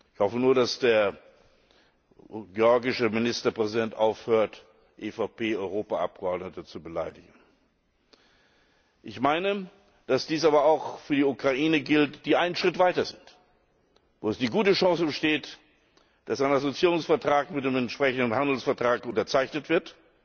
Ich hoffe nur, dass der georgische Ministerpräsident aufhört, EVP Europaabgeordnete zu beleidigen. Ich meine, dass dies aber auch für die Ukraine gilt, die einen Schritt weiter ist, wo die gute Chance besteht, dass ein Assoziierungsvertrag mit dem entsprechenden Handelsvertrag unterzeichnet wird.